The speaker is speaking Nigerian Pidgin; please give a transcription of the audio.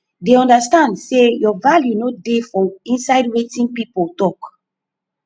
dey understand sey your value no dey for inside wetin pipo talk